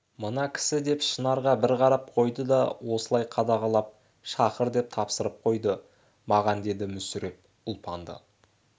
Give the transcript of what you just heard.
мына кісі деп шынарға бір қарап қойды да осылай қадағалап шақыр деп тапсырып қойды маған деді мүсіреп ұлпанды